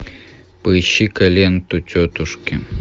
поищи ка ленту тетушки